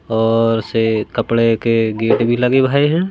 और से कपड़े के गेट भी लगे भाए हैं।